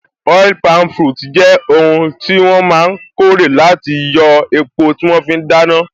Oil palm fruits jẹ́ oun tí wọ́n máa n kórè láti yóò epo tí wọ́n fí n dáná